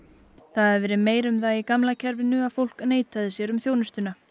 það hafi verið meira um það í gamla kerfinu að fólk neitaði sér um þjónustuna